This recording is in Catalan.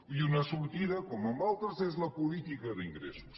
i una sortida com en altres és la política d’ingressos